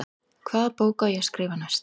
Hvaða bók á ég að skrifa næst?